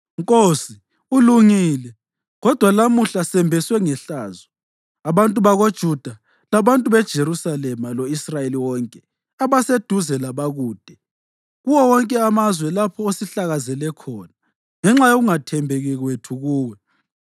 Nkosi, ulungile, kodwa lamuhla sembeswe ngehlazo, abantu bakoJuda labantu beJerusalema lo-Israyeli wonke, abaseduze labakude, kuwo wonke amazwe lapho osihlakazele khona ngenxa yokungathembeki kwethu kuwe.